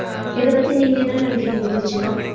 இதபத்தி நீங்க என்ன நினைக்கிறீங்க தீக்ச்சனா